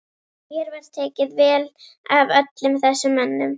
Mér var tekið vel af öllum þessum mönnum.